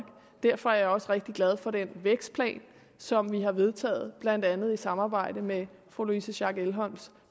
derfor er jeg også rigtig glad for den vækstplan som vi har vedtaget blandt andet i samarbejde med fru louise schack elholms